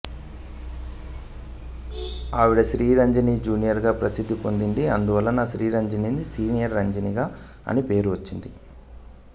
ఆవిడ శ్రీరంజని జూనియర్ గా ప్రసిద్ధి పొందింది అందువలనే శ్రీరంజనికి సీనియర్ శ్రీరంజని అని పేరు వచ్చింది